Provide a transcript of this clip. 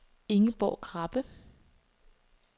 Ingeborg Krabbe